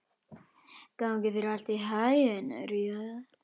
Gangi þér allt í haginn, Irja.